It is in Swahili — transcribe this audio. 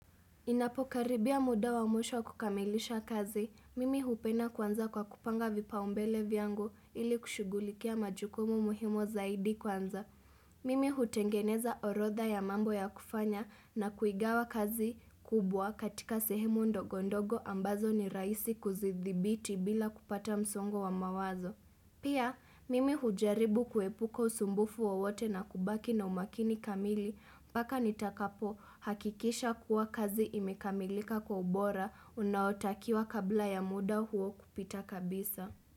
Inapokaribia muda wa mwisho kukamilisha kazi, mimi hupenda kwanzia kwa kupanga vipaumbele viangu ili kushugulikia majukumu muhimu zaidi kwanza. Mimi hutengeneza orodha ya mambo ya kufanya na kuigawa kazi kubwa katika sehemu ndogo ndogo ambazo ni rahisi kuzidhibiti bila kupata msongo wa mawazo. Pia, mimi hujaribu kuepuka usumbufu wowote na kubaki na umakini kamili mpaka nitakapohakikisha kua kazi imekamilika kwa ubora unaotakiwa kabla ya muda huo kupita kabisa.